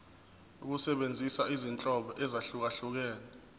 ukusebenzisa izinhlobo ezahlukehlukene